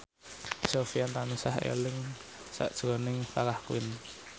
Sofyan tansah eling sakjroning Farah Quinn